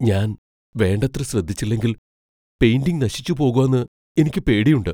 ഞാൻ വേണ്ടത്ര ശ്രദ്ധിച്ചില്ലെങ്കിൽ പെയിന്റിംഗ് നശിച്ചു പോകോന്ന് എനിയ്ക്ക് പേടിയുണ്ട്.